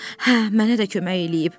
Hə, mənə də kömək eləyib.